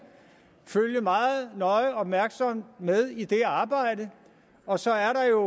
følge meget nøje og opmærksomt med i det her arbejde og så er der jo